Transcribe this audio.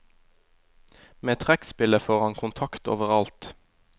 Med trekkspillet får han kontakt overalt.